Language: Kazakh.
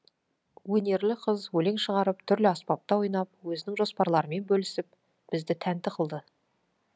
өнерлі қыз өлең шығарып түрлі аспапта ойнап өзінің жоспарларымен бөлісіп бізді тәнті қылды